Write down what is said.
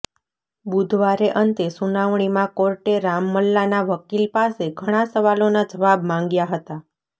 બુધવારે અંતે સુનાવણીમાં કોર્ટે રામલલ્લાના વકીલપાસે ઘણાં સવાલોના જવાબ માંગ્યા હતા